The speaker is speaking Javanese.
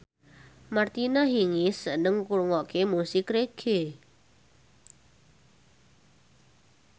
Martina Hingis seneng ngrungokne musik reggae